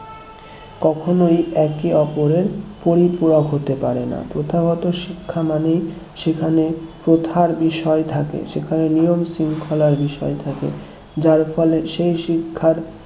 কখনোই একে ওপরের পরিপূরক হতে পারে না প্রথাগত শিক্ষা মানে সেখানে প্রথার বিষয় থাকে সেখানে নিয়ম-শৃঙ্খলার বিষয় থাকে যার ফলে সেই শিক্ষার